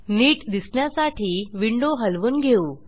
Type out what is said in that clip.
नीट दिसण्यासाठी विंडो हलवून घेऊ